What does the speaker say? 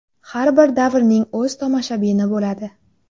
Har bir davrning o‘z tomoshabini bo‘ladi.